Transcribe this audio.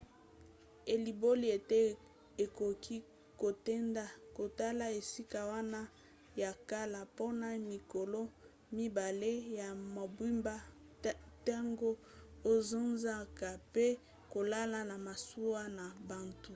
elimboli ete okoki kokende kotala esika wana ya kala mpona mikolo mibale ya mobimba ntango ozozonga mpe kolala na masuwa na butu